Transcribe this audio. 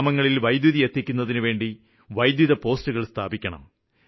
ഗ്രാമങ്ങളില് വൈദ്യുതി എത്തിക്കുന്നതിനുവേണ്ടി വൈദ്യുത പോസ്റ്റുകള് സ്ഥാപിക്കണം